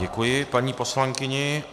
Děkuji paní poslankyni.